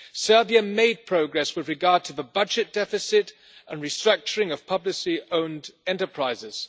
Serbia made progress with regards to the budget deficit and restructuring of publicly owned enterprises.